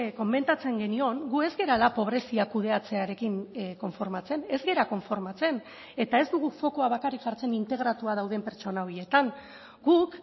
komentatzen genion gu ez garela pobrezia kudeatzearekin konformatzen ez gara konformatzen eta ez dugu fokua bakarrik jartzen integratua dauden pertsona horietan guk